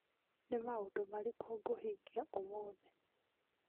Nĩ maũndũ marĩkũ ngũhingia ũmũthĩ